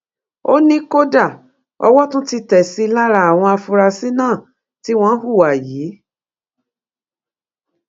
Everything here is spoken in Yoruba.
ó ní kódà owó tún ti tẹ sí i lára àwọn afurasí náà tí wọn hùwà yìí